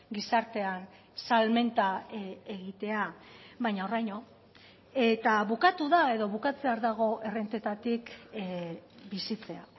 gizartean salmenta egitea baina horraino eta bukatu da edo bukatzear dago errentetatik bizitzea